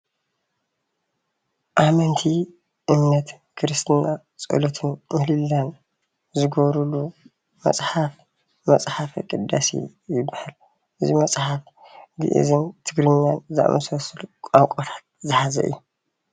ኣመንቲ እምነት ክርስትና ፆሎትን ምህለላን ዝገብርሉ መፅሓፍ መፅሓፍ ቅዳሴ ይባሃል፡፡ እዚ መፅሓፍ ግእዝን ትግርኛን ዝኣመሳሰሉ ቋንቋታት ዝሓዘ እዩ፡፡